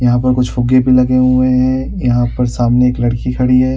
यहाँ पर कुछ फुग्गे भी लगे हुए है यहाँ पर सामने एक लड़की खड़ी हैं।